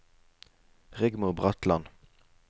Rigmor Bratland